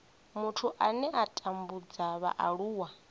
muthu ane a tambudza vhaaluwa